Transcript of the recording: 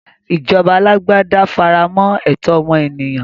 Ìjọba alágbádá faremọ́ ẹ̀tọ́ ọmọ ènìyàn.